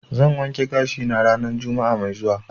zan wanke gashi na ranan juma'a mai zuwa.